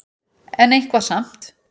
En eitthvað samt.